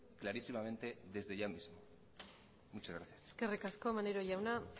clarísimamente desde ya mismo muchas gracias eskerrik asko maneiro jauna